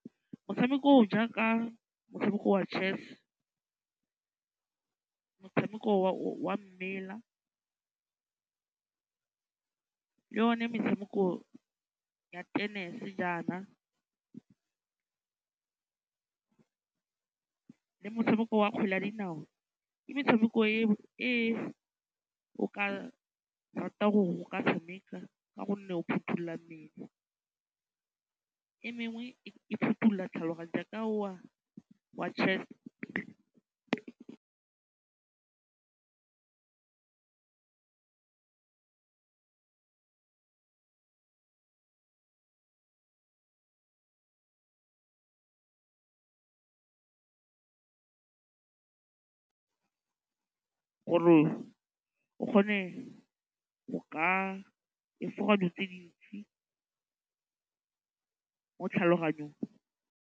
Motshameko o o jaaka motshameko wa chess, motshameko wa mmele, le one metshameko ya tennis jaana, le motshameko wa kgwele ya dinao ke metshameko e o ka ratang gore o ka tshameka ka gonne o phothulola mmele. E mengwe e phothulola tlhaloganya jaaka o wa chess-e. Gore o kgone go ka efoga dilo tse di ntsi mo tlhaloganyong.